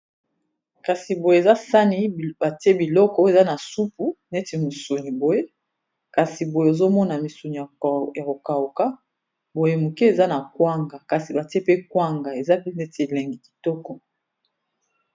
kasi boye eza sani batie biloko eza na supu neti misuni boye kasi boye ozomona misuni ya kokauka boye moke eza na kwanga kasi batie pe kwanga eza pe neti elengi kitoko